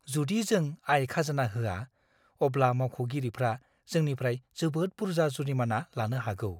जुदि जों आय खाजोना होआ, अब्ला मावख'गिरिफ्रा जोंनिफ्राय जोबोद बुरजा जुरिमाना लानो हागौ।